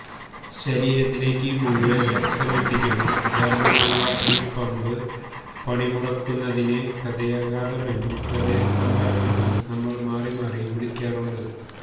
ശരീരത്തിലേക്ക് മുഴുവൻ രക്തമെത്തിക്കുന്ന ധർമ്മമുള്ള ഈ പമ്പ് പണിമുടക്കുന്നതിനെ ഹൃദയാഘാതം എന്നും ഹൃദയസ്തംഭനം എന്നും നമ്മൾ മാറി മാറി വിളിക്കാറുണ്ട്